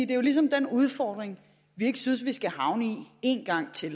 det ligesom er den udfordring vi ikke synes vi skal havne i en gang til